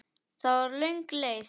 Það var löng leið.